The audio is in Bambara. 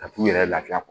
Ka t'u yɛrɛ lafiya kɔ